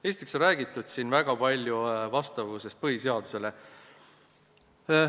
Esiteks on siin räägitud väga palju vastavusest põhiseadusele.